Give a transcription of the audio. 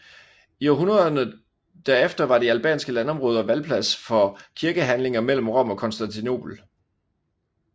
I århundrederne der efter var de albanske landområder valplads for kirkestridigheder mellem Rom og Konstantinopel